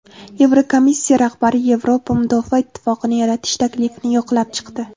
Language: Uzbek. Yevrokomissiya rahbari Yevropa mudofaa ittifoqini yaratish taklifini yoqlab chiqdi.